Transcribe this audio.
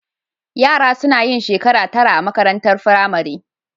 Yara suna yin shekara tara a makarantar firamare